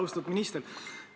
Austatud minister!